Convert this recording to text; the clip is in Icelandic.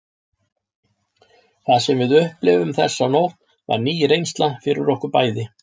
Það sem við upplifðum þessa nótt var ný reynsla fyrir okkur bæði.